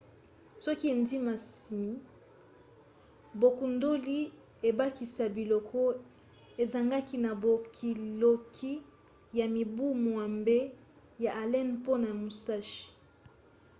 soki endimisami bokundoli ebakisa biloko ezangaki na bolukiluki ya mibu mwambe ya allen mpona musashi